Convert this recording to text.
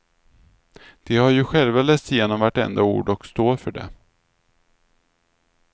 De har ju själva läst igenom vartenda ord och står för det.